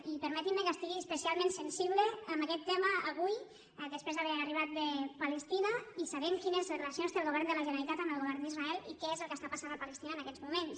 i permetin me que estigui especialment sensible amb aquest tema avui després d’haver arribat de palestina i sabent quines relacions té el govern de la generalitat amb el govern d’israel i què és el que passa a palestina en aquests moments